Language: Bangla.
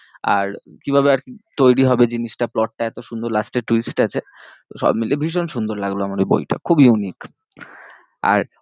আর কিভাবে আর কি তৈরী হবে জিনিসটা plot টা এত সুন্দর last এ twist আছে তো সব মিলিয়ে ভীষণ সুন্দর লাগলো আমার ওই বইটা, খুব unique আর